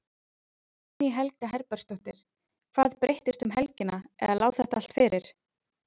Guðný Helga Herbertsdóttir: Hvað breyttist um helgina eða lá þetta allt fyrir?